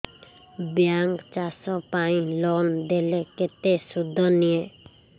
bank ଚାଷ ପାଇଁ loan ଦେଲେ କେତେ ସୁଧ ନିଏ